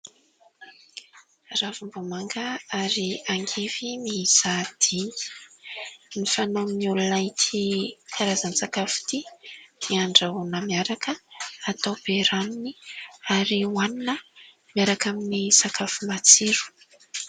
Ravimbomanga, ary angivy miisa dimy, no fanaon'ny olona ity karaza-tsakafo 'ty ; dia andrahoina miaraka, atao be ranony, ary hoanina miaraka amin'ny sakafo matsiro.